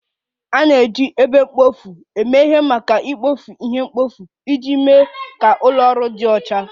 A na-eji ebe mkpofu eme ihe maka ikpofu ihe mkpofu iji mee ka ụlọ ọrụ dị ọcha